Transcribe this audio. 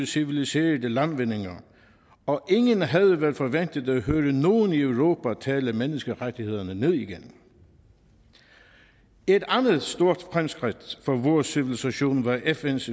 civiliserede landvindinger og ingen havde vel forventet at høre nogen i europa tale menneskerettighederne ned igen et andet stort fremskridt for vores civilisation var fns